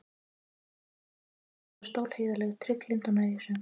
Hún var stálheiðarleg, trygglynd og nægjusöm.